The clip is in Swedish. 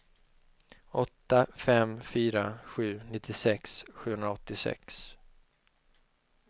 åtta fem fyra sju nittiosex sjuhundraåttiosex